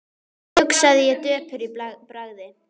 hugsaði ég döpur í bragði.